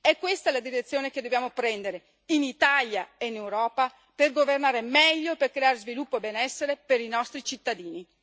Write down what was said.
È questa la direzione che dobbiamo prendere, in Italia e in Europa, per governare meglio e per creare sviluppo e benessere per i nostri cittadini.